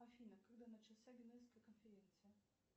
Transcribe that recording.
афина когда начался генуэзская конференция